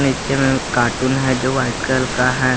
नीचे में कार्टून है जो व्हाइट कलर का है।